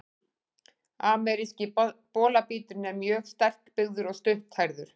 Ameríski bolabíturinn er mjög sterkbyggður og stutthærður.